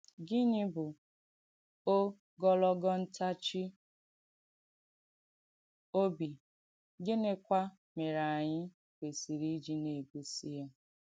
Gịnì bù ògọlọ̀g̣ọ̀ ǹtáchì òbì, gịnìkwà mèrè ànyị̣ kwèsìrì ìjì nà-ègósì ya?